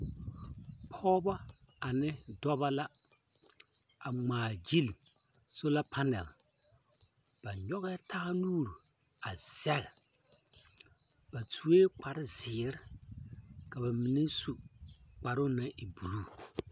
Pͻgebͻ ane dͻbͻ la a ŋmaa gyili sola panaal. Ba nyͻgԑԑ taa nuuri a zԑge. Ba sue kpare zeere ka ba mine su kparoo naŋ e buluu.